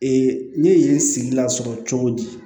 Ee ne ye n sigi lasɔrɔ cogo di